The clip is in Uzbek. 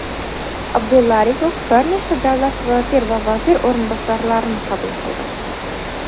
Abdulla Aripov bir nechta davlat vazir va vazir o‘rinbosarlarini qabul qildi.